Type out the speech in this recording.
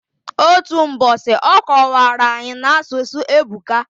Otu mbosi, ọ kọwara anyi, n'asụsụ ebuka.